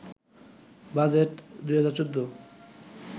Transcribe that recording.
budget ২০১৪